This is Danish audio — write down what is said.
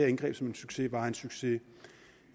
indgreb som en succes var en succes